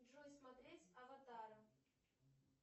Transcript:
джой смотреть аватара